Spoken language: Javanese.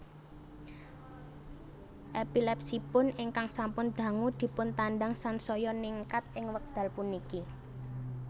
Epilepsiipun ingkang sampun dangu dipuntandhang sansaya ningkat ing wekdal puniki